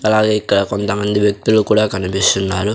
అలాగే ఇక్కడ కొంతమంది వ్యక్తులు కూడా కనిపిస్తున్నారు.